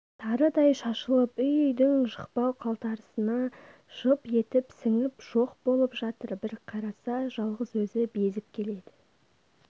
тарыдай шашылып үй-үйдің жықпыл-қалтарысына жып етіп сіңіп жоқ болып жатыр бір қараса жалғыз өзі безіп келеді